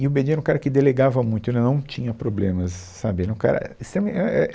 E o Bedin era um cara que delegava muito, ele não tinha problemas sabe, ele era um cara extremamente, é, é,